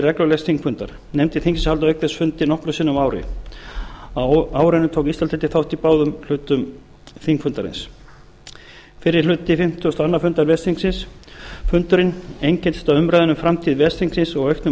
reglulegs þingfundar nefndir þingsins halda auk þess fundi nokkrum sinnum á ári árinu tók íslandsdeildin þátt í báðum hlutum þingfundarins fyrri hluti fimmtugasta og annars fundar ves þingsins fundurinn einkenndist af umræðunni um framtíð ves þingsins og auknum